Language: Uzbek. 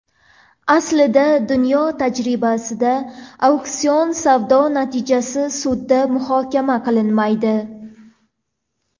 Aslida, dunyo tajribasida auksion savdo natijasi sudda muhokama qilinmaydi.